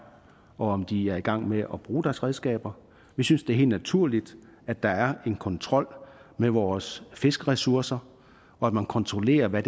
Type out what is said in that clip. og om de er i gang med at bruge deres redskaber vi synes det er helt naturligt at der er en kontrol med vores fiskeressourcer og at man kontrollerer hvad